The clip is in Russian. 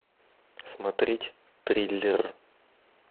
смотреть триллер